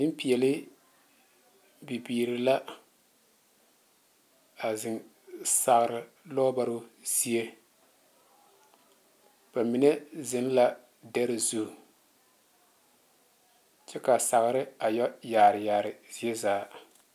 Nempeԑle bibiiri la a zeŋ sagere lͻͻbaroo zie. Ba mine zeŋ la dԑre zu kyԑ kaa sagere a yԑ yaare yaare ziezaa.